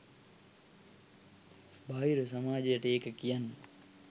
බාහිර සමාජයට ඒක කියන්න